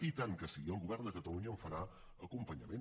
i tant que sí i el govern de catalunya en farà acompanyament